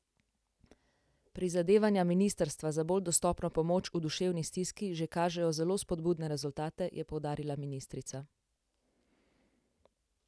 Prizadevanja ministrstva za bolj dostopno pomoč v duševni stiski že kažejo zelo spodbudne rezultate, je poudarila ministrica.